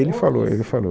Ele falou, ele falou